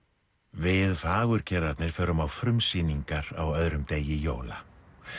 við förum á frumsýningar á öðrum degi jóla